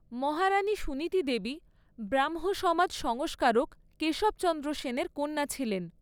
মহারাণী সুনীতি দেবী ব্রাহ্ম সমাজ সংস্কারক কেশব চন্দ্র সেনের কন্যা ছিলেন।